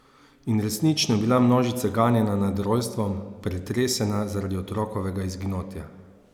In resnično je bila množica ganjena nad rojstvom, pretresena zaradi otrokovega izginotja.